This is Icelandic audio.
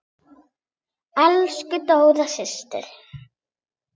Elsku Dóra systir.